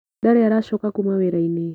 Ndarĩ aracoka kuma wĩrainĩ.